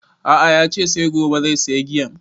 A'a yace sai gobe zai saya giyan